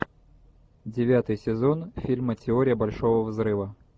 девятый сезон фильма теория большого взрыва